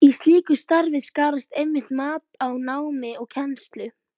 Í slíku starfi skarast einmitt mat á námi og kennslu.